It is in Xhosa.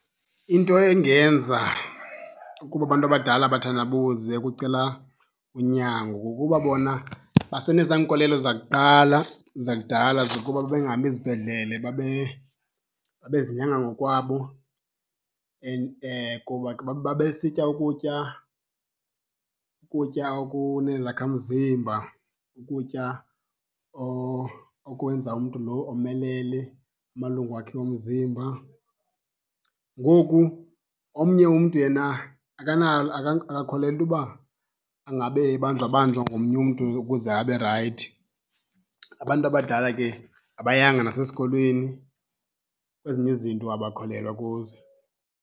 Into engenza ukuba abantu abadala bathandabuze ukucela unyango kukuba bona basenezaa nkolelo zakuqala zakudala zokuba babengami zibhedlele babezinyanga ngokwabo. Kuba ke babesitya ukutya, ukutya okunezakhamzimba, ukutya okwenza umntu lo omelele amalungu wakhe omzimba. Ngoku omnye umntu yena akakholelwa into yoba angabe ebanjwabanjwa ngomnye umntu ukuze abe rayithi. Abantu abadala ke abayanga nasesikolweni, kwezinye izinto abakholelwa kuzo.